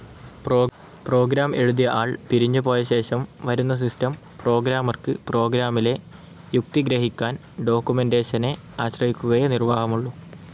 Programme എഴുതിയ ആൾ പിരിഞ്ഞുപോയശേഷം വരുന്ന സിസ്റ്റം പ്രോഗ്രാമർക്ക്, പ്രോഗ്രാമിലെ യുക്തി ഗ്രഹിക്കാൻ, ഡോക്കുമെന്റേഷനെ ആശ്രയിക്കുകയേ നിർവാഹമുള്ളൂ.